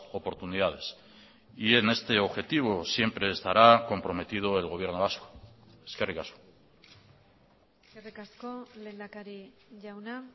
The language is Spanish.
oportunidades y en este objetivo siempre estará comprometido el gobierno vasco eskerrik asko eskerrik asko lehendakari jauna